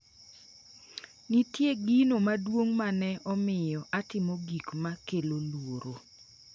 “Nitie gino maduong’ ma ne omiyo atimo gik ma kelo luoro.